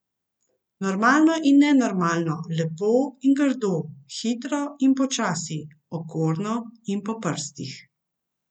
Normalno in nenormalno, lepo in grdo, hitro in počasi, okorno in po prstih.